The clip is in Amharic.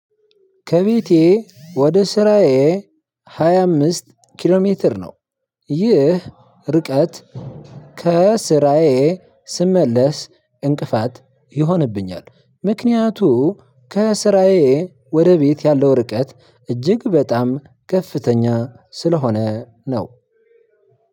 ከቤቴ ወደ ስራዬ ሃያ አምስት ኪሎ ሜትር ነው። ይህ እርቀት ከስራዬ ስመለስ እንቅፋት ይሆንብኛል። ምክንያቱም ከስራዬ ወደ ቤት ያለው እርቀት እጅግ በጣም ከፍተኛ ስለሆነ ነው።